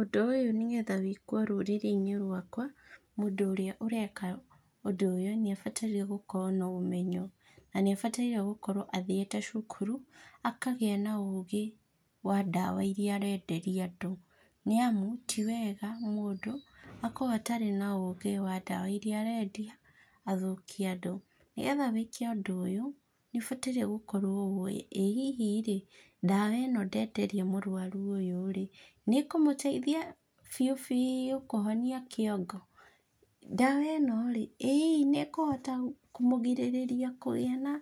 Ũndũ ũyũ nĩgetha wĩkwo rũrĩrĩinĩ rwakwa, mũndũ ũrĩa ũreka ũndũ ũyũ nĩabataire gũkorwo na ũmenyo, na nĩabataire gũkorwo athiĩte cukuru, akagĩa na ũgĩ, wa ndawa iria arenderia andũ, nĩamu, tiwega mũndũ, akorwo atarĩ na ũgĩ wa ndawa iria arendia, athũkie andũ. Nĩgetha wĩke ũndũ ũyũ nĩũbataire gũkorwo ũĩ, ĩ hihi rĩ, ndawa ĩno ndenderia mũrwaru ũyũ rĩ, nĩkũmũteithia biũbiũ kũhonia kĩongo. Ndawa ĩno rĩ, ĩ hihi nĩkũhota kũmũgirĩrĩria kũgĩa na